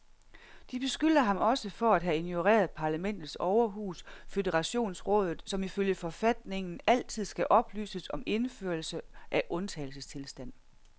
De beskylder ham også for at have ignoreret parlamentets overhus, føderationsrådet, som ifølge forfatningen altid skal oplyses om indførelse af undtagelsestilstand.